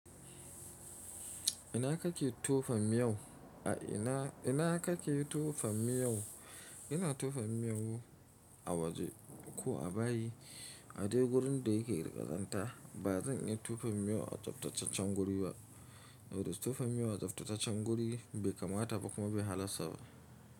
Ina kake tofa miyo? Ina kake tofa miyo? Ina tofan miyau a waje ko a bayi, a dai wurin da yake riƙazanta. Ba zan iya tofan miyau a tsaftataccen guri ba, saboda tofan miyau a tsaftataccen guri bai kamata ba kuma bai halasta ba.